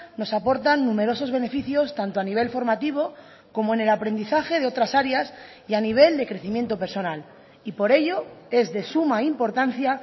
nos aportan numerosos beneficios tanto a nivel formativo como en el aprendizaje de otras áreas y a nivel de crecimiento personal y por ello es de suma importancia